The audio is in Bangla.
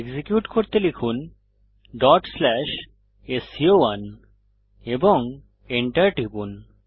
এক্সিকিউট করতে লিখুন sco1 এবং enter টিপুন